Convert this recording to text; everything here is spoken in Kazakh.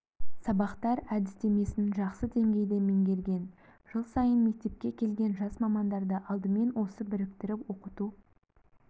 сабақтар әдістемесін жақсы деңгейде меңгерген жыл сайын мектепке келген жас мамандарды алдымен осы біріктіріп оқыту